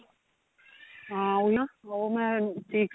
ਹਾਂ ਉਹ ਨਾ ਉਹ ਮੈਂ chicks ਤੇ